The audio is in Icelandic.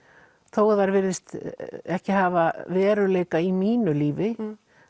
þó að þær virðist ekki hafa veruleika í mínu lífi